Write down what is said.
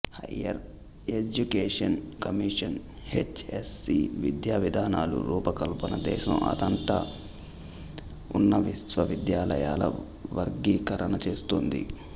higher education commission H S C విద్యా విధానాల రూపకల్పన దేశం అంతటా ఉన్న విశ్వవిద్యాలయాల వర్గీకరణ చేస్తుంది